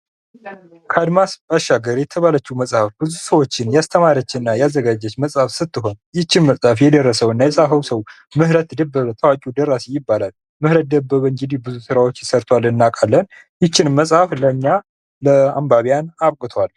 ከአድማስ ባሻገር የተባለቸው መፅሐፍ ብዙ ሰዎችን ያስተማረች እና ያዘጋጀች መፅሐፍ ስትሆን ይቺን መጽሐፍ የደረሰው እና የፃፈው ሰው ምህረት ደበበ ታዋቂው ደራሲ ይባላል ። ምህረት ደበበ እንግዲህ ብዙ ስራዎችን ሰርቷል እናውቃለን ይቺን መጽሐፍ ለእኛ ለአንባቢያን አብቅቷል ።